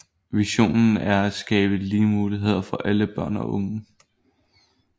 Visionen er at skabe lige muligheder for alle børn og unge